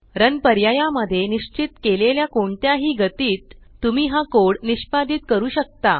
run पर्याया मध्ये निश्चित केलेल्या कोणत्याही गतीत तुम्ही हा कोड निष्पादीत करू शकता